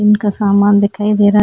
इनका सामान दिखाई दे रहा हैं।